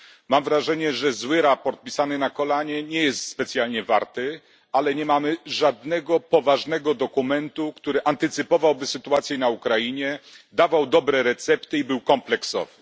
Mam wrażenie, że złe sprawozdanie, pisane na kolanie, nie jest dużo warte, ale nie mamy żadnego poważnego dokumentu, który antycypowałby sytuację na Ukrainie, dawał dobre recepty i był kompleksowy.